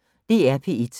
DR P1